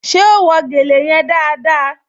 Ṣé ó wé gèlè yẹn dáadáa?